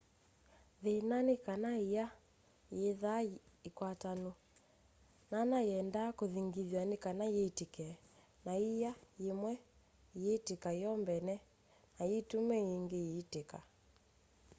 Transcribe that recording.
thĩna nĩ kana ĩa yĩthaa yĩ ĩkwatanũ nana yendaa kũthĩngĩthwa nĩ kana yĩtĩke na ĩa yĩmwe ĩyĩtĩka yo mbene no yĩtũme yĩngĩ ĩyĩtĩka